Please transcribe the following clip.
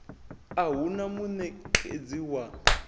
a hu na munekedzi wa